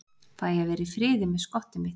Fæ að vera í friði með skottið mitt.